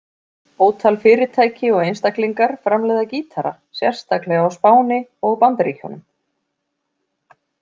Ótal fyrirtæki og einstaklingar framleiða gítara, sérstaklega á Spáni og Bandaríkjunum.